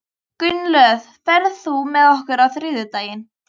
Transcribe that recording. Gunnlöð, ferð þú með okkur á þriðjudaginn?